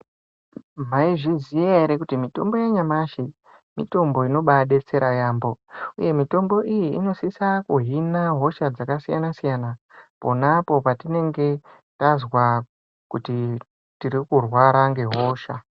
Maizviziya here kuti mitombo yanyamashi mitombo inobadetsera yambo uye mitombo iyi inosisa kuhina hosha dzakasiyana siyana pona apo patinenge tazwa kuti tiri kurwara ngehosha.